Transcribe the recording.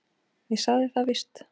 Ég sagði það víst.